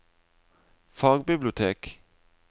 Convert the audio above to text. fagbibliotek